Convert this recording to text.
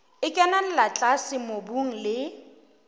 e kenella tlase mobung le